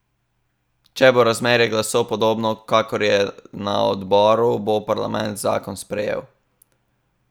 Če bo razmerje glasov podobno kakor je na odboru, bo parlament zakon sprejel.